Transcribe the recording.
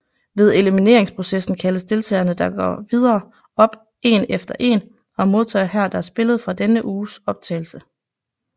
Ved elimineringsprocessen kaldes deltagere der går videre op én efter én og modtager her deres billede fra denne uges fotooptagelse